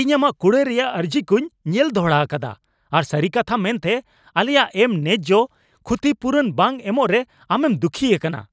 ᱤᱧ ᱟᱢᱟᱜ ᱠᱩᱲᱟᱹᱭ ᱨᱮᱭᱟᱜ ᱟᱹᱨᱡᱤ ᱠᱚᱧ ᱧᱮᱞ ᱫᱚᱦᱲᱟ ᱟᱠᱟᱫᱟ, ᱟᱨ ᱥᱟᱹᱨᱤ ᱠᱟᱛᱷᱟ ᱢᱮᱱᱛᱮ, ᱟᱞᱮᱭᱟᱜ ᱮᱢ ᱱᱮᱡᱽᱡᱚ ᱠᱷᱩᱛᱤᱯᱩᱨᱩᱱ ᱵᱟᱝ ᱮᱢᱚᱜ ᱨᱮ ᱟᱢᱮᱢ ᱫᱩᱠᱷᱤ ᱟᱠᱟᱱᱟ ᱾